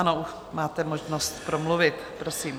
Ano, máte možnost promluvit, prosím.